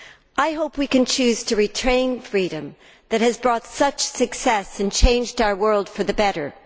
I hope we choose to retain the freedom that has brought such success and changed our world for the better.